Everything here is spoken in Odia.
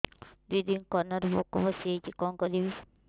ଦିଦି କାନରେ ପୋକ ପଶିଯାଇଛି କଣ କରିଵି